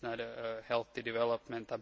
This is not a healthy development.